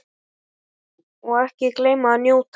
Og ekki gleyma að njóta.